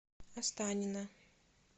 останина